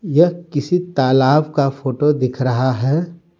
यह किसी तालाब का फोटो दिख रहा है।